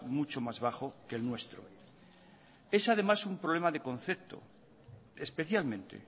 mucho más bajo que el nuestro es además un problema de concepto especialmente